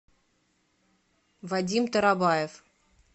вадим тарабаев